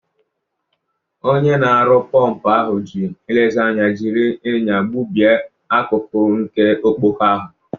Onye na-arụ pọmpụ ahụ ji nlezianya jiri ịnya gbubie akụkụ nke ọkpọkọ ahụ.